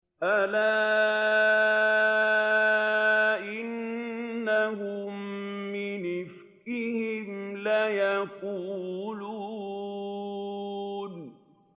أَلَا إِنَّهُم مِّنْ إِفْكِهِمْ لَيَقُولُونَ